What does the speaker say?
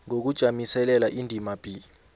ngokujamiselela indima b